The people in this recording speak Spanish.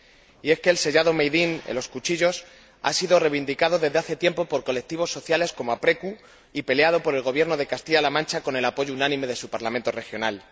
Y es que el sellado Made in en los cuchillos ha sido reivindicado desde hace tiempo por colectivos sociales como Aprecu y peleado por el Gobierno de Castilla La Mancha con el apoyo unánime de su Parlamento regional.